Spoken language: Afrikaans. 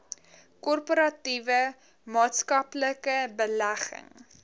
korporatiewe maatskaplike belegging